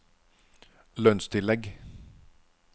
lønnstillegg